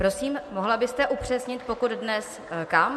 Prosím, mohla byste upřesnit, pokud dnes, kam?